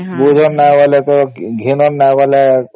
ବୂଝନ ନାଇଁ ବୋଲେ ତ ଘେନାନ ନାଇଁ ବୋଲେ